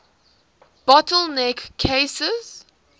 bottle neck cases